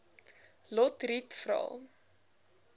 lotriet vra